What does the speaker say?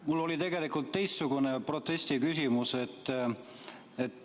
Mul oli tegelikult teistsugune protestiküsimus.